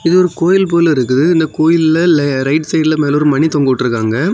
இது ஒரு கோயில் போல இருக்குது இந்த கோயில்லே லே ரைட் சைடுல மேலெ ஒரு மணி தொங்க விட்டிருக்காங்க.